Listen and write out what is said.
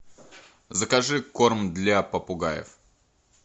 закажи корм для попугаев